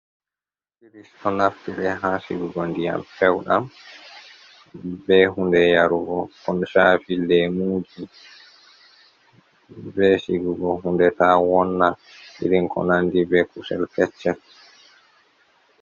Frrish ɗo naftire ha sigugo ndiyam peuɗam, ɓe hunɗe yarugo on shafi lemuji ,ɓe sigugo hunɗe ta wonna irin ko nanɗi be kusel keccel.